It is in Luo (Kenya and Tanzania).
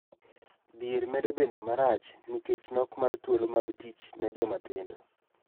Dhier medo bedo marach nikech nok mar thuolo mag tich ne joma tindo.